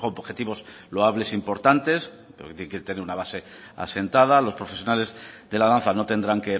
objetivos loables importantes de tener una base asentada los profesionales de la danza no tendrán